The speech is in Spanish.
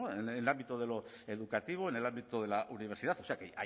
en el ámbito de lo educativo en el ámbito de la universidad o sea que